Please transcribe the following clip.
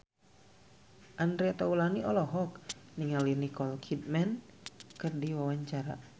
Andre Taulany olohok ningali Nicole Kidman keur diwawancara